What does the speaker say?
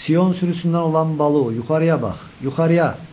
Sion sürüsündən olan Balu, yuxarıya bax, yuxarıya!